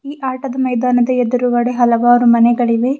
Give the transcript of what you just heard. ಈ ಆಟದ ಮೈದಾನದ ಎದುರುಗಡೆ ಹಲವರು ಮನೆಗಳಿವೆ.